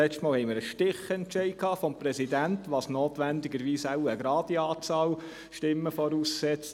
Letztes Mal hatten wir einen Stichentscheid des Präsidenten, was notwendigerweise wohl eine gerade Stimmenzahl voraussetzt.